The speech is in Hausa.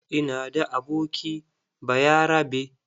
Ina da aboki bayarabe.